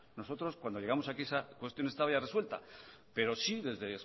nosotros cuando llegamos aquí esa cuestión estaba ya resuelta pero sí desde